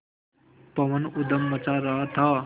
पवन ऊधम मचा रहा था